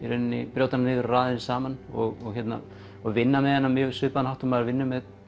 brjóta hana niður raða henni saman og og vinna með hana á mjög svipaðan hátt og maður vinnur með